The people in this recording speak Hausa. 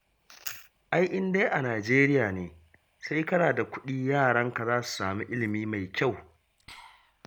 Ai in dai a Najeriya ne, sai kana da kuɗi yaranka za su samu ilimi mai kyau